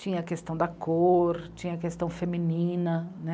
Tinha a questão da cor, tinha a questão feminina né.